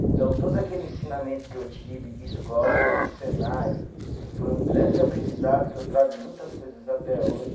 Então, todo aquele ensinamento que eu tive de escola, do Senai, que foi um grande aprendizado, que eu trago muitas coisas até hoje.